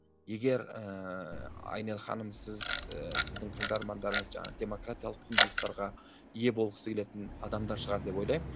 егер ііі айнель ханым сіз і сіздің тыңдармандарыңыз жаңағы демократиялық құндылықтарға ие болғысы келетін адамдар шығар деп ойлаймын